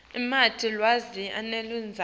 lamanti lawa aneludzaka